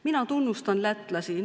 Mina tunnustan lätlasi.